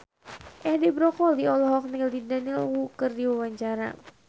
Edi Brokoli olohok ningali Daniel Wu keur diwawancara